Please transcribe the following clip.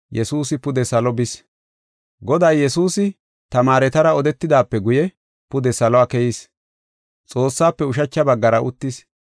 Goday Yesuusi tamaaretara odetidaape guye, pude salo keyis; Xoossafe ushacha baggara uttis.